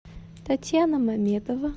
татьяна мамедова